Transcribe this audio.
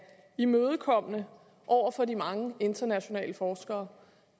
imødekommende over for de mange internationale forskere